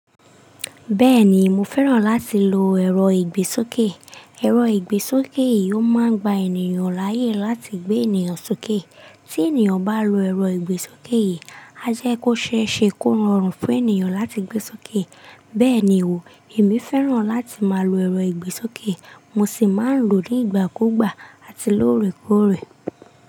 Bẹ́ẹ̀ni, mo fẹ́ràn láti lo ẹ̀rọ ìgbésókè. Ẹ̀rọ ìgbésókè yìí ó máa ń gba ènìyàn láyè láti gbé ènìyàn sókè. Tí ènìyàn bá lo ẹ̀rọ ìgbésókè yìí, a jẹ́ kó ṣe é ṣe kó rọrùn fún ènìyàn láti gbé sókè. Bẹ́ẹ̀ ni wò, èmi fẹ́ràn láti máa lo ẹ̀rọ ìgbésókè, mo sì máa ń lò ó nígbàkúùgbà àti lóòrèkóòrè.